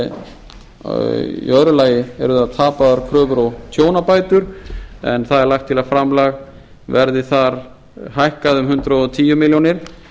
í öðru lagi eru það tapaðar kröfur og tjónabætur en það er lagt til að framlag verði þar hækkað um hundrað og tíu milljónir